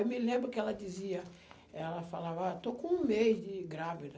Eu me lembro que ela dizia, ela falava, ah, eu estou com um mês de grávida.